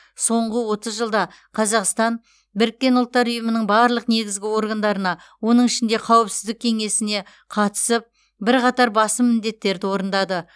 соңғы отыз жылда қазақстан біріккен ұлттар ұйымының барлық негізгі органдарына оның ішінде қауіпсіздік кеңесіне қатысып бірқатар басым міндеттерді орындады